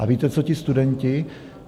A víte, co ti studenti?